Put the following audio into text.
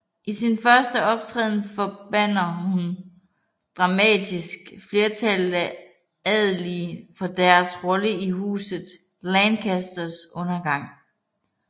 I sin første optræden forbander hun dramatisk flertallet af adelige for deres rolle i Huset Lancasters undergang